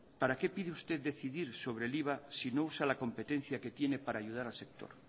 para qué pide usted decidir sobre el iva si no usa la competencia que tiene para ayudar al sector